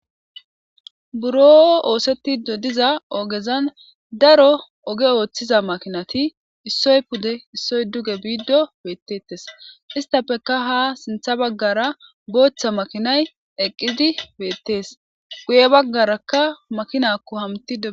buro oosetti dodiza ogezan daro oge ooththiza makinati issoy pude issoy duge biiddo beettettes istapeka ha sintha baggara booththa makinay eqqidi beettees guye baggarakka makinakko hamti e